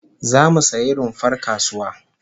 Zamu sayi rumfar kasuwa